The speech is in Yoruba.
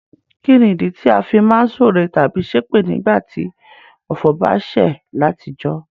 Kínìdí ti a fi má n súre tábí sépè nígbàtí ọ̀fọ̀ ba sẹ̀ látijọ́?